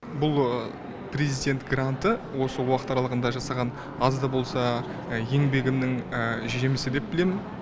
бұл президент гранты осы уақыт аралығында жасаған аз да болса еңбегімнің жемісі деп білемін